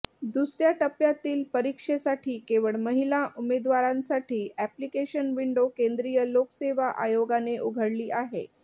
दुसऱ्या टप्प्यातील परीक्षेसाठी केवळ महिला उमेदवारांसाठी अॅप्लिकेशन विंडो केंद्रीय लोकसेवा आयोगाने उघडली आहे